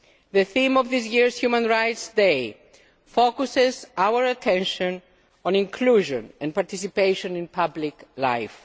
The theme of this year's Human Rights Day focuses our attention on inclusion and participation in public life.